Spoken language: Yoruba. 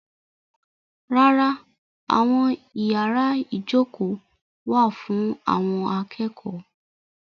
Rárá, àwọn yàrá ìjókòó wà fún àwọn akẹ́kọ̀ọ́.